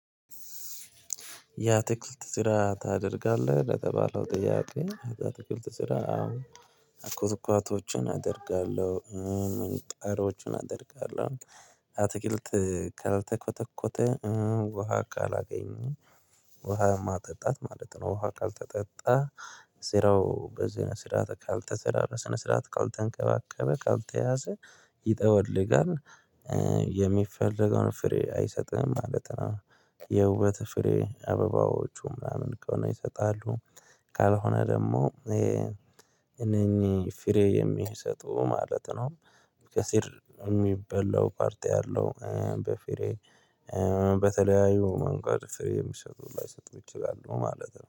ያ አትክልት ስራ ታደርጋለህ ለተባለው ጥያቄ የአትክልት ስራ አሁዎ ኩትኳዎችን አደርጋለሁ ቀሮቹን አደርጋለሁ አትክልት ካልተኮተኮተ ውሃ ካላገኘሁ ውሃ ማጠጣት ማለት ነው። ውሃ ካልተጠጣ ስራው በዝነ ስርዓት ካልተሰራ በስነ ስርዓት ካልተንከባከበ ካልተያዘ ይጠወልጋል። የሚፈለገውን ፍሬ አይሰጥም ማለት ነው። የውበተ ፍሬ አበባዎቹ ምናምን ከሆነ ይሰጣሉ። ካልሆነ ደግሞ እነኚህ ፍሬ የማይሰጡ ማለት ነው። ከሲር የሚበላው ፓርቲ አለው በፍሬ በተለያዩ መንገድ የሚሸጡ ላይሰጡ ይችላሉ ማለት ነው